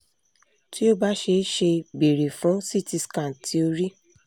ti o ba ṣee ṣe beere fun ct scan ti ori